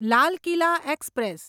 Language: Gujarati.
લાલ કિલા એક્સપ્રેસ